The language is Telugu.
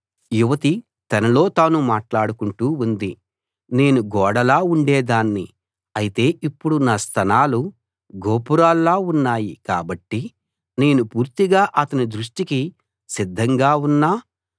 యువతి తనలో తాను మాట్లాడుకుంటూ ఉంది నేను గోడలా ఉండేదాన్ని అయితే ఇప్పుడు నా స్తనాలు గోపురాల్లా ఉన్నాయి కాబట్టి నేను పూర్తిగా అతని దృష్టికి సిద్ధంగా ఉన్నా